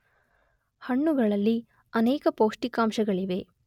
ಹಣ್ಣುಗಳಲ್ಲಿ ಅನೇಕ ಪೌಷ್ಠಿಕಾಂಶಗಳಿವೆ.